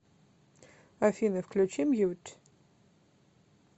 афина включи мьют